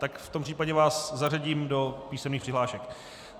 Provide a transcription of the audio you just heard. Tak v tom případě vás zařadím do písemných přihlášek.